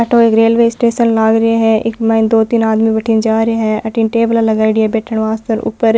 अठ ओ एक रेलवे स्टेशन लाग रो है इक माइन दो तीन आदमी बठीन जा रहे है अठीने टेबला लगाईडी है बैठन वास्ते और ऊपर --